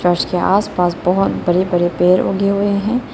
Church के आसपास बहुत बड़े बड़े पेड़ उगे हुए हैं।